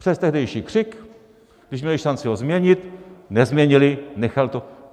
Přes tehdejší křik, když měli šanci ho změnit, nezměnili, nechali to.